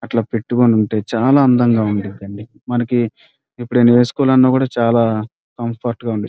అట్లా పెట్టుకొని ఉంటే చాలా అందంగా ఉంటది అంది మనకి ఎప్పుడైనా ఏస్కోవలన కూడా చాలా కంఫర్ట్ గ ఉంది.